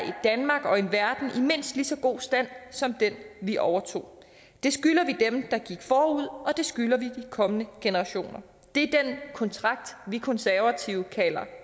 danmark og en verden i mindst lige så god stand som den vi overtog det skylder vi dem der gik forud og det skylder vi de kommende generationer det er den kontrakt vi konservative kalder